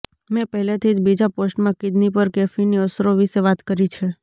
મેં પહેલેથી જ બીજા પોસ્ટમાં કિડની પર કેફીનની અસરો વિશે વાત કરી છે